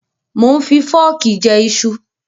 Mò ń fi fọ́ọ̀kì jẹ iṣu.